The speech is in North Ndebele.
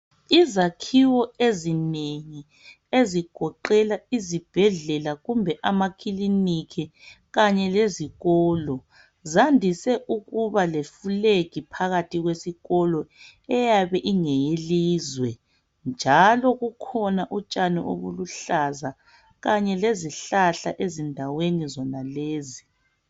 Izakhiwo ezinengi ezigoqela izibhedlela kumbe amakiliniki kanye lezikolo, zandise ukuba lefulegi phakathi kwesikolo eyabe ingeyelizwe njalo kukhona utshani obuluhlaza kanye lezihlahla ezindaweni zonalezi.